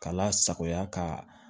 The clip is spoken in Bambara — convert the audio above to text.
K'a lasagoya ka